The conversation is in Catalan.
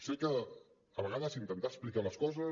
sé que a vegades intentar explicar les coses